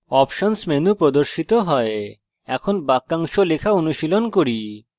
options options menu প্রদর্শিত হয় এখন বাক্যাংশ লেখা অনুশীলন করি